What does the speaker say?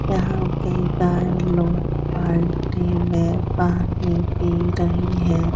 यहाँ पे गाय लोग बाल्टी में पानी पी रहीं हैं।